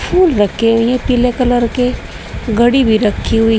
फूल रखे हुए हैं पीले कलर के घड़ी भी रखी हुई है--